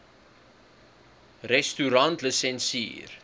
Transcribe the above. restaurantlisensier